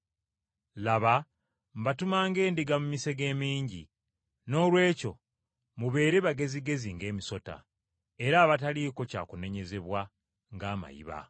“Laba mbatuma ng’endiga mu misege. Noolwekyo mubeere bagezigezi ng’emisota, era abataliiko kya kunenyezebwa ng’amayiba.